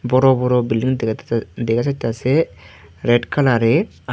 বড় বড় বিল্ডিং দেখা যাই দেখা যাইতাসে রেড কালারের আর--